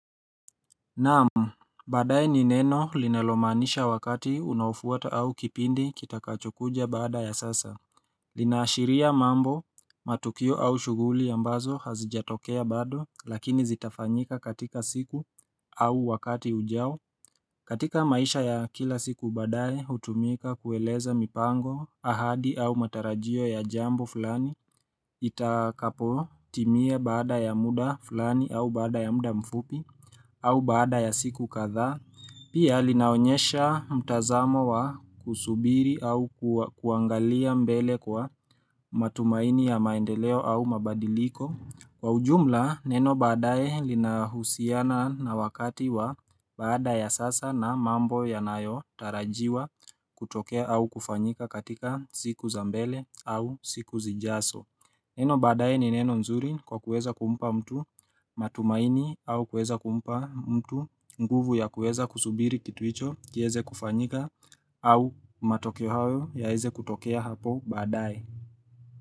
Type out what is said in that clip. Naam, badaye ni neno linalomaanisha wakati unaofuata au kipindi kitakachokuja baada ya sasa. Linaashiria mambo, matukio au shughuli ambazo hazijatokea bado lakini zitafanyika katika siku au wakati ujao. Katika maisha ya kila siku baadaye hutumika kueleza mipango, ahadi au matarajio ya jambo fulani Itakapotimia baada ya muda fulani au baada ya muda mfupi au baada ya siku kadhaa Pia linaonyesha mtazamo wa kusubiri au kuangalia mbele kwa matumaini ya maendeleo au mabadiliko. Kwa ujumla neno baadaye linahusiana na wakati wa baada ya sasa na mambo yanayotarajiwa kutokea au kufanyika katika siku za mbele au siku zijazo. Neno baadaye ni neno zuri kwa kuweza kumpa mtu matumaini au kuweza kumpa mtu nguvu ya kuweza kusubiri kitu hicho kiweze kufanyika au matokeo hayo yaweze kutokea hapo baadaye.